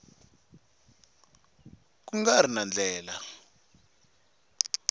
ku nga ri na ndlela